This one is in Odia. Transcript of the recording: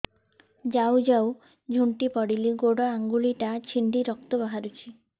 ଯାଉ ଯାଉ ଝୁଣ୍ଟି ପଡ଼ିଲି ଗୋଡ଼ ଆଂଗୁଳିଟା ଛିଣ୍ଡି ରକ୍ତ ବାହାରୁଚି